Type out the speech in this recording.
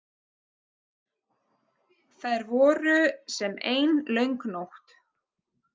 Þær voru sem ein löng nótt.